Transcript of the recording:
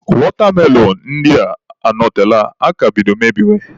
Watermelon ndị a anọtela aka bido mebiwe.